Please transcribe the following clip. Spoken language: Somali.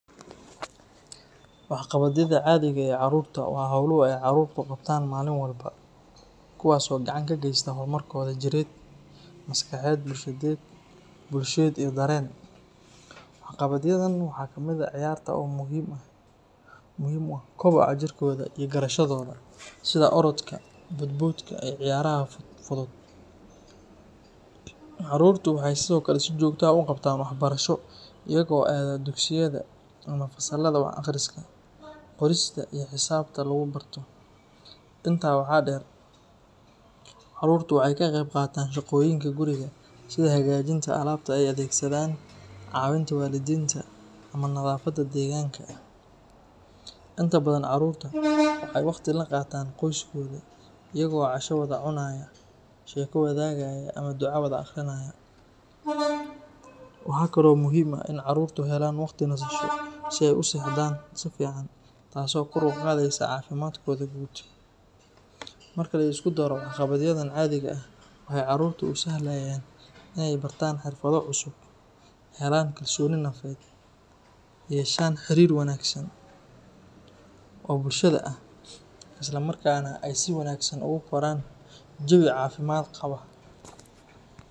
Waxqabadyada caadiga ee carruurta waa hawluhu ay carruurtu qabtaan maalin walba kuwaas oo gacan ka geysta horumarkooda jireed, maskaxeed, bulsheed iyo dareen. Waxqabadyadan waxaa ka mid ah ciyaarta oo muhiim u ah kobaca jirkooda iyo garashadooda, sida orodka, boodboodka, iyo ciyaaraha fudud. Carruurtu waxay sidoo kale si joogto ah u qabtaan waxbarasho iyaga oo aada dugsiyada ama fasallada wax akhriska, qorista iyo xisaabta lagu barto. Intaa waxaa dheer, carruurtu waxay ka qeyb qaataan shaqooyinka guriga sida hagaajinta alaabta ay adeegsadaan, caawinta waalidiinta, ama nadaafadda deegaanka. Inta badan carruurta waxay waqti la qaataan qoyskooda, iyaga oo casho wada cunaya, sheeko wadaagaya ama duco wada akhrinaya. Waxaa kale oo muhiim u ah in carruurtu helaan waqti nasasho si ay u seexdaan si fiican taas oo kor u qaadaysa caafimaadkooda guud. Marka la isku daro, waxqabadyadan caadiga ah waxay carruurta u sahlayaan inay bartaan xirfado cusub, helaan kalsooni nafeed, yeeshaan xiriir wanaagsan oo bulshada ah, islamarkaana ay si wanaagsan ugu koraan jawi caafimaad qaba.